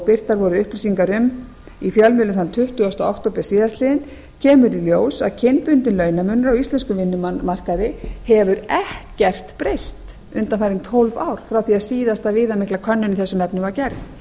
birtar voru upplýsingar um í fjölmiðlum þann tuttugasta október síðastliðinn kemur í ljós að kynbundinn launamunur á íslenskum vinnumarkaði hefur ekkert breyst undanfarin tólf ár frá því að síðasta viðamikla könnun í þessum efnum